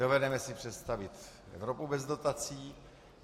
Dovedeme si představit Evropu bez dotací.